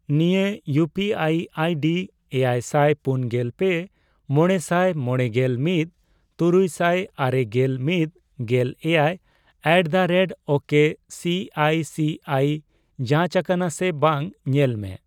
ᱱᱤᱭᱟᱹ ᱤᱭᱩᱯᱤᱟᱭ ᱟᱭᱰᱤ ᱮᱭᱟᱭᱥᱟᱭ ᱯᱩᱱᱜᱮᱞ ᱯᱮ ,ᱢᱚᱲᱮᱥᱟᱭ ᱢᱚᱲᱮᱜᱮᱞ ᱢᱤᱛ ,ᱛᱩᱨᱩᱭᱥᱟᱭ ᱟᱨᱮᱜᱮᱞ ᱢᱤᱛ ,ᱜᱮᱞ ᱮᱭᱟᱭ ᱮᱴᱫᱟᱨᱮᱴᱳᱠᱮ ᱥᱤᱟᱭ ᱥᱤᱟᱭ ᱡᱟᱸᱪᱟᱠᱟᱱᱟ ᱥᱮ ᱵᱟᱝ ᱧᱮᱞ ᱢᱮ ᱾